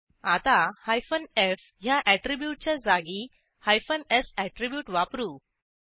आता एफ ह्या ऍट्रीब्यूटच्या जागी स् ऍट्रीब्यूट वापरू